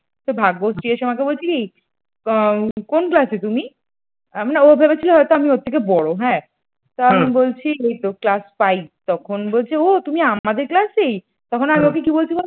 তো ভাগ্যশ্রী এসে আমাকে বলছে কি? কোন class এ তুমি আমি না ও ভেবেছিল হয়তো আমি ওর থেকে বড় হ্যাঁ তো আমি বলছি এইতো class five তখন বলছে ও তুমি আমাদের class এই